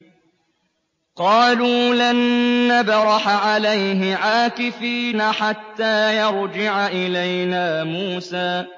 قَالُوا لَن نَّبْرَحَ عَلَيْهِ عَاكِفِينَ حَتَّىٰ يَرْجِعَ إِلَيْنَا مُوسَىٰ